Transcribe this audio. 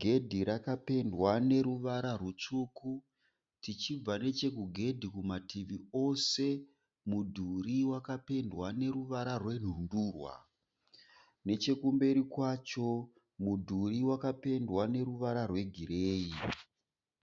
Gedhi rakapendwa neruvara rutsvuku. Tichibva nechekugedhi kumativi ose mudhuri wakapendwa neruvara rwenhundurwa. Nechekumberi kwacho mudhuri wakapendwa neruvara rwegireyi .